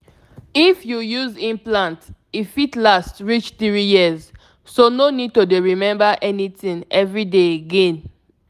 if you dey reason implant e fit change how your period dey dey show — but e still be easy birth control true true na beta tin.